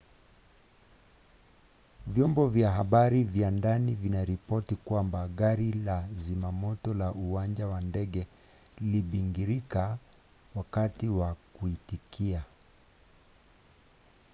vyombo vya habari vya ndani vinaripoti kwamba gari la zimamoto la uwanja wa ndege lilibingirika wakati wa kuitikia